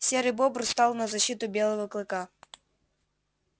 серый бобр стал на защиту белого клыка